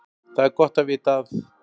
Það er gott að vita að